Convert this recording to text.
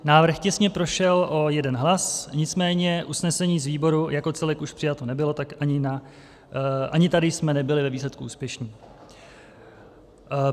Návrh těsně prošel o jeden hlas, nicméně usnesení z výboru jako celek už přijato nebylo, tak ani tady jsme nebyli ve výsledku úspěšní.